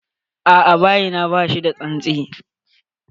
A'a, bayi na bashi da tsantsi.